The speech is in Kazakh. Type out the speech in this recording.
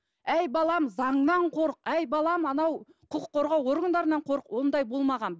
әй балам заңнан қорық әй балам анау құқық қорғау органдарынан қорық ондай болмаған